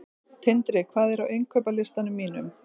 Tindri, hvað er á innkaupalistanum mínum?